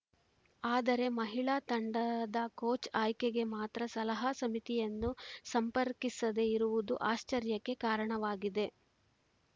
ಆದರೆ ಮಹಿಳಾ ತಂಡದ ಕೋಚ್‌ ಆಯ್ಕೆಗೆ ಮಾತ್ರ ಸಲಹಾ ಸಮಿತಿಯನ್ನು ಸಂಪರ್ಕಿಸದೆ ಇರುವುದು ಆಶ್ಚರ್ಯಕ್ಕೆ ಕಾರಣವಾಗಿದೆ